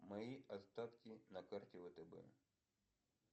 мои остатки на карте втб